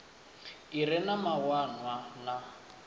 i re na mawanwa na